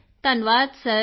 ਕ੍ਰਿਤਿਕਾ ਧੰਨਵਾਦ ਸਰ